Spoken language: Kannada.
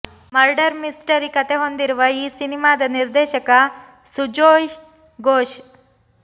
ಮರ್ಡರ್ ಮಿಸ್ಟರಿ ಕಥೆ ಹೊಂದಿರುವ ಈ ಸಿನಿಮಾದ ನಿರ್ದೇಶಕ ಸುಜೋಯ್ ಘೋಷ್